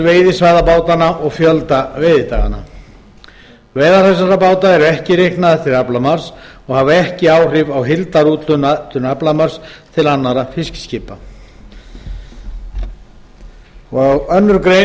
veiðisvæða bátanna og fjölda veiðidaga veiðar þessara báta eru ekki reiknaðar til aflamarks og hafa ekki áhrif á heildarúthlutun aflamarks til annarra fiskiskipa annarri grein